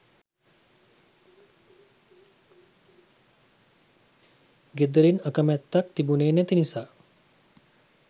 ගෙදරින් අකැමැත්තක් තිබුණේ නැති නිසා